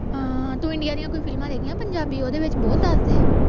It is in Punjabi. ਹਾਂ ਤੂੰ ਇੰਡੀਆ ਦੀਆਂ ਕੋਈ ਫ਼ਿਲਮਾਂ ਦੇਖੀਆਂ ਪੰਜਾਬੀ ਓਹਦੇ ਚ ਬਹੁਤ ਦਸਦੇ ਹੈ